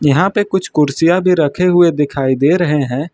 यहां पे कुछ कुर्सियां भी रखे हुए दिखाई दे रहे हैं।